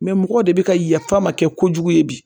mɔgɔw de bɛ ka yafa ma kɛ kojugu ye bi